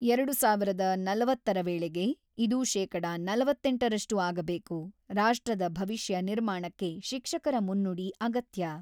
ಎರಡು ಸಾವಿರದ ನಲವತ್ತರ ವೇಳೆಗೆ ಇದು ಶೇಕಡ ನಲವತ್ತೆಂಟರಷ್ಟು ಆಗಬೇಕು, ರಾಷ್ಟ್ರದ ಭವಿಷ್ಯ ನಿರ್ಮಾಣಕ್ಕೆ ಶಿಕ್ಷಕರ ಮುನ್ನುಡಿ ಅಗತ್ಯ.